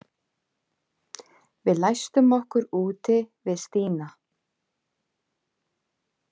Við læstum okkur úti við Stína.